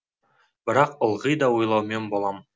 бірақ ылғи да ойлаумен болам